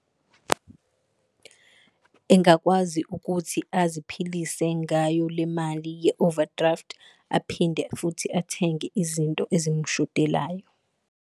Engakwazi ukuthi aziphilise ngayo le mali ye-overdraft, aphinde futhi athenge izinto ezimshodelayo.